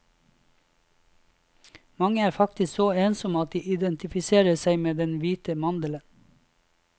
Mange er faktisk så ensomme at de identifiserer seg med den hvite mandelen.